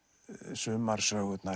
sumar sögurnar